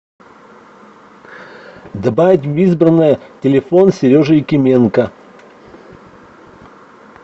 добавить в избранное телефон сережи якименко